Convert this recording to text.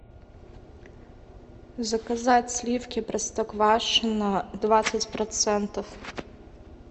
заказать сливки простоквашино двадцать процентов